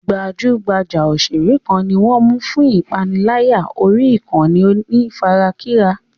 Gbajúgbajà òṣèré kan ni wọ́n ń mú fún ìpániláyà orí ìkànnì onífarakínra.